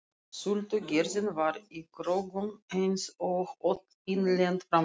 Sultugerðin var í kröggum einsog öll innlend framleiðsla.